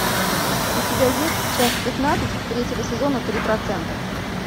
у тебя есть часть пятнадцать третьего сезона три процента